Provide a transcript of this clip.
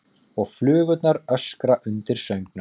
Og flugurnar öskra undir söngnum.